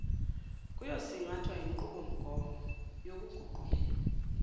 kuyosingathwa yinqubomgomo yokuguqulela